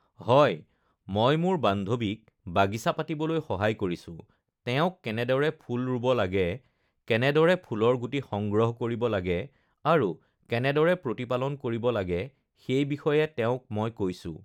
হয় মই মোৰ বান্ধৱীক বাগিছা পাতিবলেৈ সহায় কৰিছোঁ, তেওঁক কেনেদৰে ফুল ৰুব লাগে, কেনেদৰে ফুলৰ গুটি সংগ্ৰহ কৰিব লাগে আৰু কেনেদৰে প্ৰতিপালন কৰিব লাগে সেই বিষয়ে তেওঁক মই কৈছোঁ